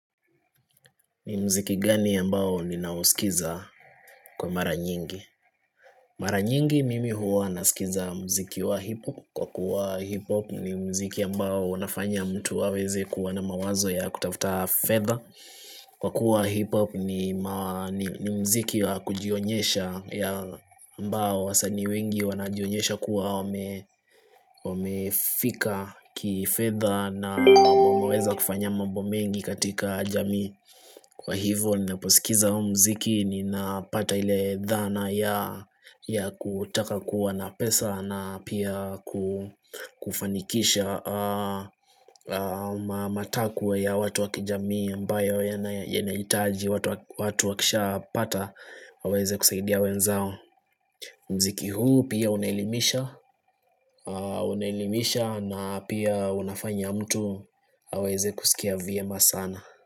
Ni mziki gani ambao ninausikiza kwa mara nyingi? Mara nyingi mimi huwa nasikiza mziki wa hip hop Kwa kuwa hip hop ni mziki ambao unafanya mtu hawezi kuwa na mawazo ya kutafuta fedha Kwa kuwa hip hop ni mziki wa kujionyesha ambao wasanii wengi wanajionyesha kuwa wamefika kifedha na wameweza kufanya mambo mengi katika jamii Kwa hivyo niposikiza huo mziki ninapata ile dhana ya kutaka kuwa na pesa na pia kufanikisha matakwe ya watu wa kijamii ambayo yanahitaji watu wakishapata waweze kusaidia wenzao Mziki huu pia unaelimisha Unaelimisha na pia unafanya mtu aweze kusikia vyema sana.